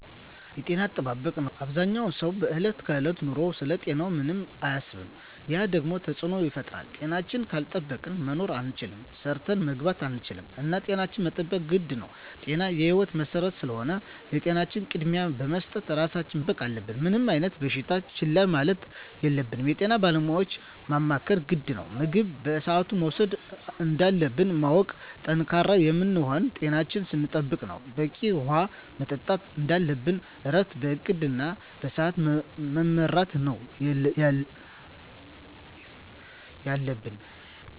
የጤና አጠባበቅ ነው አበዛኛው ሰው በዕለት ከዕለት ኑሮው ስለ ጤናው ምንም አያስብም ያ ደግሞ ተፅዕኖ ይፈጥራል። ጤናችን ካልጠበቅን መኖር አንችልም ሰርተን መግባት አንችልም እና ጤናችን መጠበቅ ግድ ነው ጤና የህይወት መሰረት ስለሆነ ለጤናችን ቅድሚያ በመስጠት ራሳችን መጠበቅ አለብን። ምንም አይነት በሽታ ችላ ማለት የለብንም የጤና ባለሙያዎችን ማማከር ግድ ነው። ምግብ በስአቱ መውሰድ እንዳለብን ማወቅ። ጠንካራ የምንሆነው ጤናችን ስንጠብቅ ነው በቂ ውሀ መጠጣት እንደለብን እረፍት በእቅድ እና በስዐት መመራት ነው የለብን